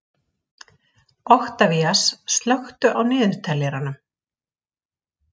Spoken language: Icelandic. Oktavías, slökktu á niðurteljaranum.